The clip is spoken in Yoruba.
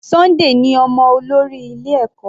Sunday ní ọmọ olórí ilé ẹ̀kọ́.